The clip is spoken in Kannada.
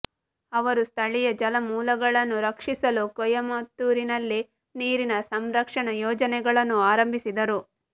ಅವರು ಸ್ಥಳೀಯ ಜಲಮೂಲಗಳನ್ನು ರಕ್ಷಿಸಲು ಕೊಯಮತ್ತೂರಿನಲ್ಲಿ ನೀರಿನ ಸಂರಕ್ಷಣಾ ಯೋಜನೆಗಳನ್ನು ಆರಂಭಿಸಿದರು